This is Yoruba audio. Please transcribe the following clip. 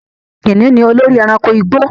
Kìnnìún ni olórí ẹranko igbó